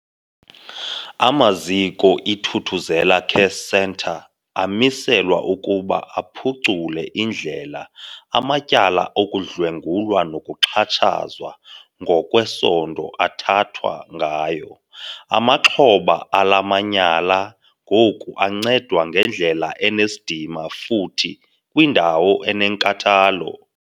Amaziko iThuthuzela Care Centre amiselwa ukuba aphucule indlela amatyala okudlwengulwa nokuxhatshazwa ngokwesondo athathwa ngayo. Amaxhoba ala manyala ngoku ancedwa ngendlela enesidima futhi kwiindawo enenkathalo.